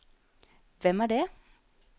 hvem er det